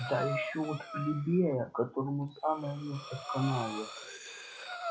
да ещё от плебея которому самое место в канаве